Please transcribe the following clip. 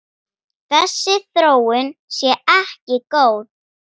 Þessi þróun sé ekki góð.